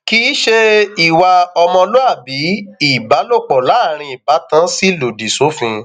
kì í ṣe ìwà ọmọlúàbí ìbálòpọ láàrin ìbátan sì lòdì sófin